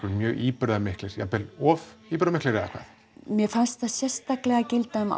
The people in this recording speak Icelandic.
mjög íburðarmiklir jafnvel of íburðarmiklir eða hvað mér fannst það sérstaklega gilda um